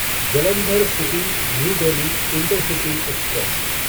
Jalandhar city New Delhi intercity express